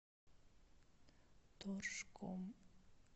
торжком